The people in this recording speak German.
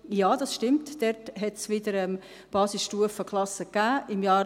Ja, das stimmt, dort hat es wieder Basisstufenklassen gegeben.